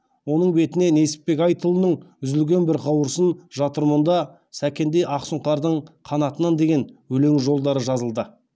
оның бетіне несіпбек айтұлының үзілген бір қауырсын жатыр мұнда сәкендей ақсұңқардың қанатынан деген өлең жолдары жазылды